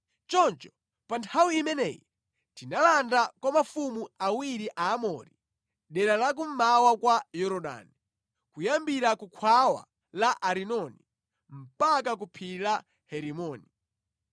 Choncho pa nthawi imeneyi tinalanda kwa mafumu awiri Aamori, dera la kummawa kwa Yorodani, kuyambira ku khwawa la Arinoni mpaka ku Phiri la Herimoni.